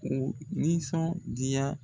O nisɔndiya.